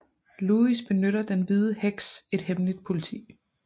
Lewis benytter den hvide heks et hemmeligt politi